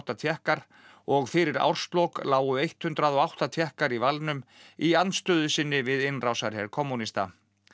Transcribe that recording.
Tékkar og fyrir árslok lágu hundrað og átta Tékkar í valnum í andstöðu sinni við innrásarher kommúnista